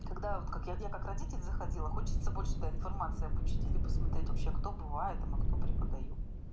когда вот как я я как родитель заходила хочется больше да информации об учителе посмотреть вообще кто бывает а кто преподаёт